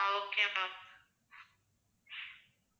ah okay ma'am